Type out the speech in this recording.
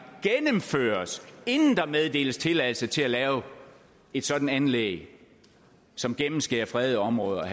gennemføres inden der meddeles tilladelse til at lave et sådant anlæg som gennemskærer fredede områder og